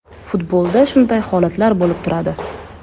Futbolda shunday holatlar bo‘lib turadi.